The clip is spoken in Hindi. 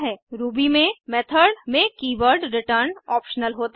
रूबी में मेथड में कीवर्ड रिटर्न ऑप्शनल होता है